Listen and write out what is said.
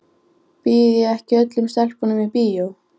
Hann skellihló þegar vatnið draup af lokkum hans niðrí fatið.